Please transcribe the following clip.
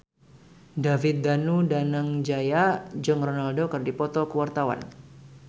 David Danu Danangjaya jeung Ronaldo keur dipoto ku wartawan